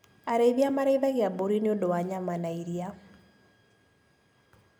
Arĩithia marĩithagia mbũri nĩũndu wa nyama na iria.